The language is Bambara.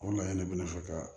O laɲini de bɛ ne fɛ ka